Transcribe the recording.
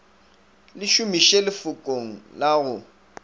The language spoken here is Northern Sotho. le šomiše lefokong la go